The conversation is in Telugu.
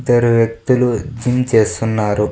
ఇద్దరు వ్యక్తులు డ్రింక్ చేస్తున్నారు.